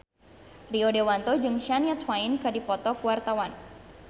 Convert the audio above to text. Rio Dewanto jeung Shania Twain keur dipoto ku wartawan